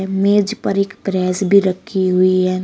मेज पर एक प्रेस भी रखी हुई है।